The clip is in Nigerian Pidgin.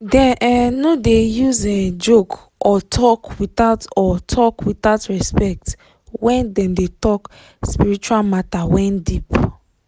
dem um no use um joke or talk without or talk without respect when dem de talk spiritual matter wen deep